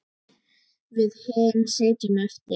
Við hin sitjum eftir.